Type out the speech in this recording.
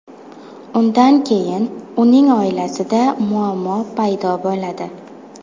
Undan keyin uning oilasida muammo paydo bo‘ladi.